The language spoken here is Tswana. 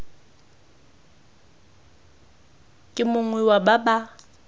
ke mongwe wa ba ba